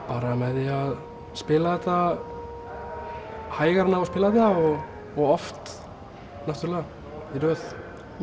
bara með því að spila þetta hægar en á að spila þetta og oft náttúrulega í röð